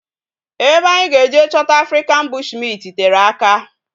Ebe anyi ga eje chota African bushmint tere aka